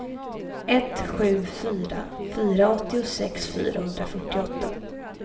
ett sju fyra fyra åttiosex fyrahundrafyrtioåtta